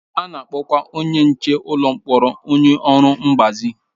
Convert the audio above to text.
A na-akpọkwa onye nche ụlọ mkpọrọ onye ọrụ mgbazi.